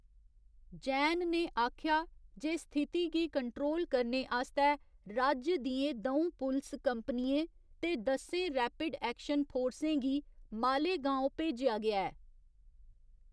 जैन ने आखेआ जे स्थिति गी कंट्रोल करने आस्तै राज्य दियें द'ऊं पुलस कंपनियें ते दस्सें रैपिड एक्शन फोर्सें गी मालेगाँव भेजेआ गेआ ऐ।